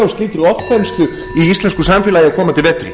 slíkri ofþenslu í íslensku samfélagi á komandi vetri